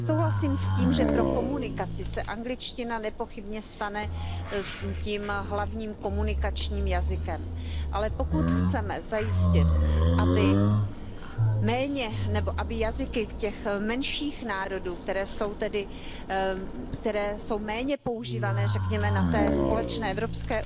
Já souhlasím s tím, že pro komunikaci se angličtina nepochybně stane tím hlavním komunikačním jazykem, ale pokud chceme zajistit, aby jazyky těch menších národů, které jsou méně používané, řekněme na té společné evropské